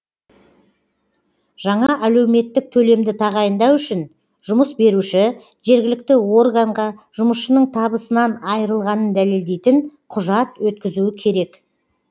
жаңа әлеуметтік төлемді тағайындау үшін жұмыс беруші жергілікті органға жұмысшысының табысынан айрылғанын дәлелдейтін құжат өткізуі керек